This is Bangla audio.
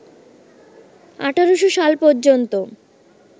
১৮০০ সাল পর্যন্ত